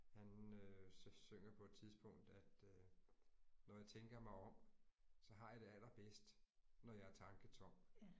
Han øh så synger på et tidspunkt at øh når jeg tænker mig om så har jeg det allerbedst når jeg er tanketom